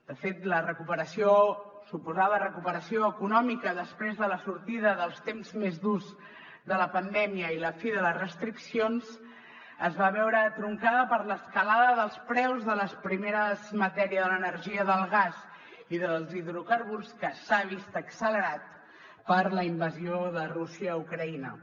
de fet la recuperació suposada recuperació econòmica després de la sortida dels temps més durs de la pandèmia i la fi de les restriccions es va veure truncada per l’escalada dels preus de les primeres matèries de l’energia del gas i dels hidrocarburs que s’han vist accelerats per la invasió de rússia a ucraïna